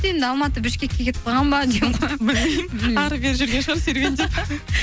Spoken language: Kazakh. енді алматы бішкекке кетіп қалған ба білмеймін әрі бері жүрген шығар серуендеп